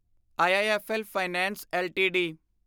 IIFL finance LTD